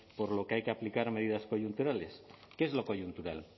por lo que hay que aplicar medidas coyunturales qué es lo coyuntural